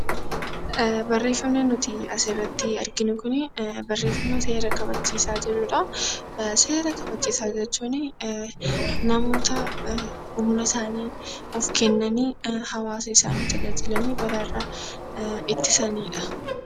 Barreeffamni nuti asii gaditti arginu Kun barreeffama seera kabachiisaa jedhudha. Seera kabachiisaa jechuun namoota humna isaanii of kennaniin hawaasa isaanii tajaajilanii uummata isaanii balaarraa ittisanidha.